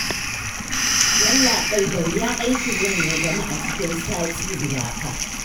Yallaɓai da wuya aikin nan ya gamu a cikin sati guda fa